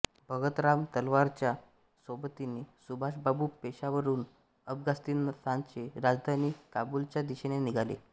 भगतराम तलवारच्या सोबतीने सुभाषबाबू पेशावरहून अफगाणिस्तानची राजधानी काबूलच्या दिशेने निघाले